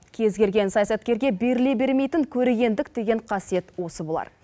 кез келген саясаткерге беріле бермейтін көрегендік деген қасиет осы болар